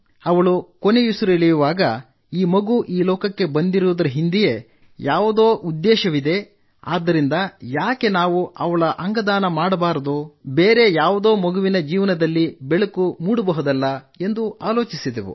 ಅವಳು ಕೊನೆಯುಸಿರೆಳೆದಾಗ ಈ ಮಗು ಈ ಲೋಕಕ್ಕೆ ಬಂದಿರುವುದರ ಹಿಂದೆ ಯಾವುದೋ ಉದ್ದೇಶವಿದೆ ಆದ್ದರಿಂದ ಯಾಕೆ ನಾವು ಅವಳ ಅಂಗದಾನ ಮಾಡಬಾರದು ಬೇರೆ ಯಾವುದೋ ಮಗುವಿನ ಜೀವನದಲ್ಲಿ ಬೆಳಕು ಮೂಡಬಹುದಲ್ಲ ಎಂದು ಆಲೋಚಿಸಿದೆವು